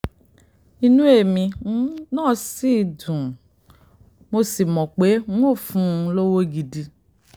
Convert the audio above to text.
inú èmi um náà dùn sí i mo um sì mọ̀ pé n óò fún un lọ́wọ́ gidi